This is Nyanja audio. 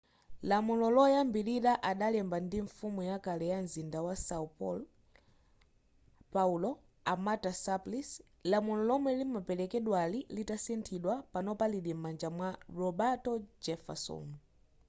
lamulo loyambilira adalemba ndi mfumu yakale ya mzinda wa são paulo a marta suplicy. lamulo lomwe limaperekedwali litasinthidwa panopa lili m'manja mwa roberto jefferson